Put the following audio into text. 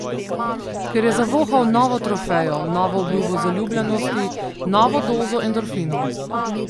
Ker je zavohal novo trofejo, novo obljubo zaljubljenosti, novo dozo endorfinov.